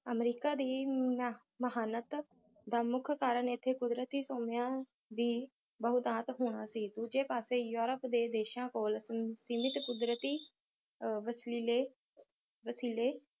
America ਦੀ ਅਹ ਮਹਾਨਤ ਦਾ ਮੁੱਖ ਕਾਰਨ ਅਤੇ ਇਥੇ ਕੁਦਰਤੀ ਸੋਮਿਆਂ ਦੀ ਬਹੁਤਾਤ ਹੋਣਾ ਸੀ ਦੂਜੇ ਪਾਸੇ ਯੂਰਪ ਦੇ ਦੇਸ਼ਾਂ ਕੋਲ ਅਮ ਸੀਮਿਤ ਕੁਦਰਤੀ ਅਹ ਵਸਲੀਲੇ ਵਸੀਲੇ